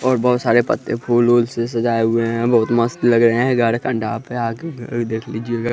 और बहोत सारे पत्ते फूल उल से सजाए हुए हैं बहुत मस्त लग रहे हैं गाड़े के पंडा है आके देख लीजिएगा।